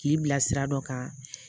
K'i bila sira dɔ kan